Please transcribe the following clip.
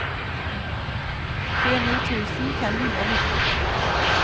tjueni tusen fem hundre og nitten